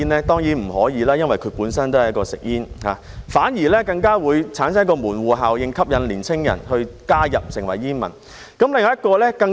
當然不可以，因為它們本身都是吸煙產品，反而更加會產生門戶效應，吸引年輕人加入成為煙民。